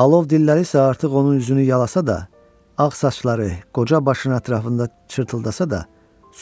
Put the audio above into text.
Alov dilləri isə artıq onun üzünü yalasa da, ağ saçları, qoca başına ətrafında çırtıldasa da,